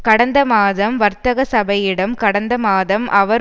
கடந்த மாதம் வர்த்தக சபையிடம் கடந்த மாதம் அவர்